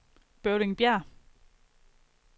Bøvlingbjerg